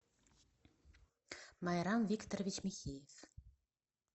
майрам викторович михеев